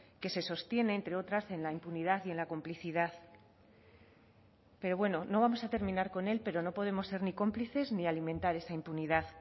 que se sostiene entre otras en la impunidad y en la complicidad pero bueno no vamos a terminar con él pero no podemos ser ni cómplices ni alimentar esa impunidad